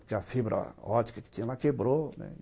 Porque a fibra óptica que tinha lá quebrou, né?